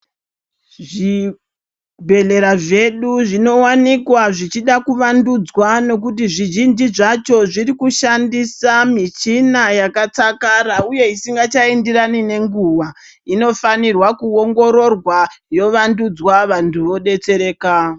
Zvibhedhlera zvedu zvinowanikwa Zvichida kuwandudzwa nekuti zvizhinji zvacho zviri kushandisa mushina yakatsakara uye Isingachaenderani nenguwa yowandudzwa vanhu vodetsereka.